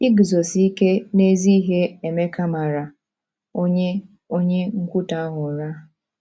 Iguzosi ike n’ezi ihe Emeka mara onye onye nkwutọ ahụ ụra!